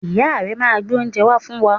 Ìyá rẹ̀ máa n gbé oúnje wá fún wa